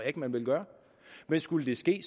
ikke man vil gøre men skulle det ske